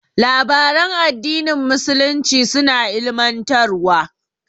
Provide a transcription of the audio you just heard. Labaran addinin musulunci suna ilimantarwa.